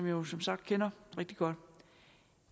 jo som sagt kender ret godt